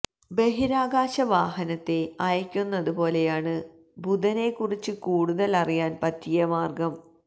ബഹിരാകാശവാഹനത്തെ അയയ്ക്കുന്നതു പോലെയാണ് ബുധനെക്കുറിച്ച് കൂടുതൽ അറിയാൻ പറ്റിയ മാർഗ്ഗം